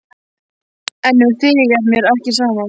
En um þig er mér ekki sama.